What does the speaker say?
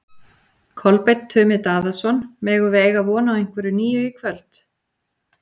Kolbeinn Tumi Daðason: Megum við eiga von á einhverju nýju í kvöld?